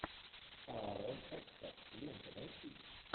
аарон экхарт лента найти